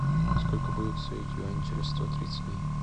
сколько будет стоить юань через сто тридцать дней